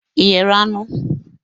Ị ghere anụ?